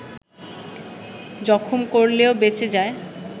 জখম করলেও বেঁচে যায়